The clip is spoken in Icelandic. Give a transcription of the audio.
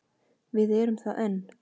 Við erum það enn.